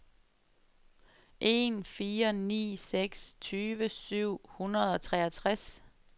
en fire ni seks tyve syv hundrede og treogtres